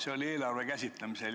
See oli eelarve käsitlemisel.